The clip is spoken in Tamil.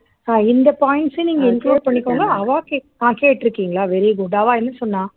ஆஹ் இந்த points அ நீங்க include பண்ணிக்கோங்க அவா கே ஆஹ் கேட்டு இருக்கீங்களா very good அவா என்ன சொன்னா